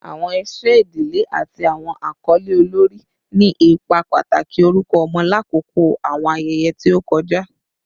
Awọn iṣẹ idile ati awọn akọle olori ni ipa pataki orukọ ọmọ lakoko awọn ayẹyẹ ti o kọja